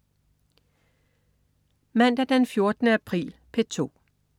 Mandag den 14. april - P2: